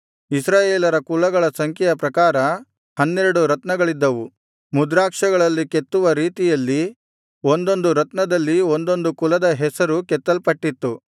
ಇಸ್ರಾಯೇಲರ ಕುಲಗಳ ಸಂಖ್ಯೆಯ ಪ್ರಕಾರ ಹನ್ನೆರಡು ರತ್ನಗಳಿದ್ದವು ಮುದ್ರಾಕ್ಷಗಳಲ್ಲಿ ಕೆತ್ತುವ ರೀತಿಯಲ್ಲಿ ಒಂದೊಂದು ರತ್ನದಲ್ಲಿ ಒಂದೊಂದು ಕುಲದ ಹೆಸರು ಕೆತ್ತಲ್ಪಟ್ಟಿತ್ತು